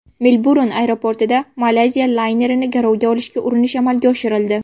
Melburn aeroportida Malayziya laynerini garovga olishga urinish amalga oshirildi.